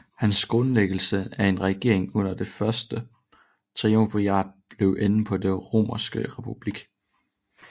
Hans grundlæggelse af en regering under det første triumvirat blev enden på den romerske republik